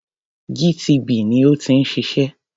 GTB ni ó ti ń ṣiṣẹ́.